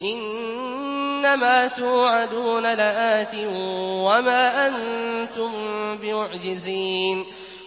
إِنَّ مَا تُوعَدُونَ لَآتٍ ۖ وَمَا أَنتُم بِمُعْجِزِينَ